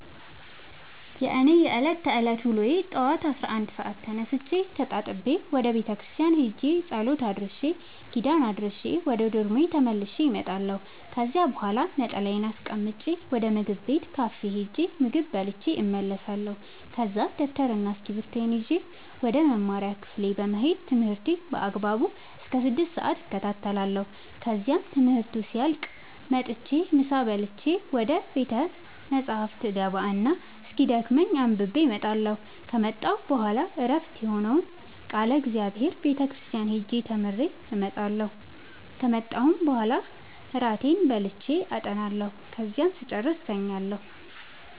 የእኔ የዕለት ተዕለት ውሎዬ ጠዋት አስራ አንድ ሰአት ተነስቼ ተጣጥቤ ወደ ቤተክርስቲያን ሄጄ ጸሎት አድርሼ ኪዳን አድርሼ ወደ ዶርሜ ተመልሼ እመጣለሁ ከዚያ በኋላ ነጠላዬን አስቀምጬ ወደ ምግብ ቤት ካፌ ሄጄ ምግብ በልቼ እመለሳለሁ ከዛ ደብተርና እስኪብርቶዬን ይዤ ወደ መማሪያ ክፍሌ በመሄድ ትምህርቴን በአግባቡ እስከ ስድስት ሰአት እከታተላለሁ ከዚያም ትምህርቱ ሲያልቅ መጥቼ ምሳ በልቼ ወደ ቤተ መፅሀፍ እገባ እና እስኪደክመኝ አንብቤ እመጣለሁ ከመጣሁ በኋላ ዕረፍት የሆነውን ቃለ እግዚአብሔር ቤተ ክርስቲያን ሄጄ ተምሬ እመጣለሁ ከመጣሁም በኋላ እራቴን በልቼ አጠናለሁ ከዚያም ስጨርስ እተኛለሁ።